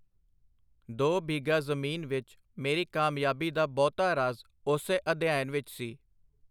ਦੋ ਬਿਘਾ ਜ਼ਮੀਨ ਵਿਚ ਮੇਰੀ ਕਾਮਯਾਬੀ ਦਾ ਬਹੁਤਾ ਰਾਜ਼ ਉਸੇ ਅਧਿਐਨ ਵਿਚ ਸੀ.